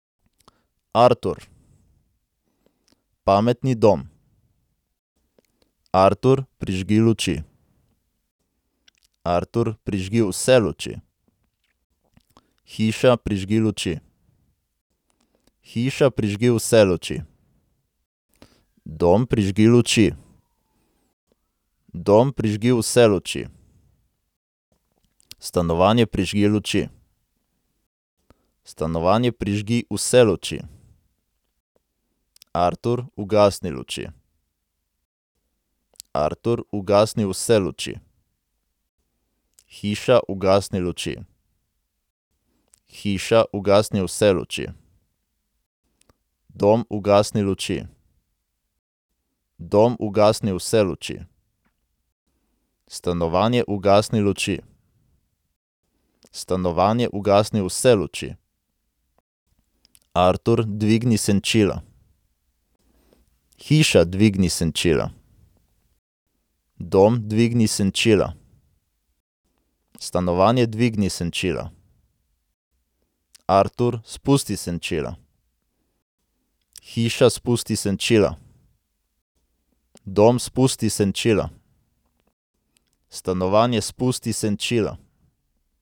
Artur. Pametni dom. Artur, prižgi luči. Artur, prižgi vse luči. Hiša, prižgi luči. Hiša, prižgi vse luči. Dom, prižgi luči. Dom, prižgi vse luči. Stanovanje, prižgi luči. Stanovanje, prižgi vse luči. Artur, ugasni luči. Artur, ugasni vse luči. Hiša, ugasni luči. Hiša, ugasni vse luči. Dom, ugasni luči. Dom, ugasni vse luči. Stanovanje, ugasni luči. Stanovanje, ugasni vse luči. Artur, dvigni senčila. Hiša, dvigni senčila. Dom, dvigni senčila. Stanovanje, dvigni senčila. Artur, spusti senčila. Hiša, spusti senčila. Dom, spusti senčila. Stanovanje, spusti senčila.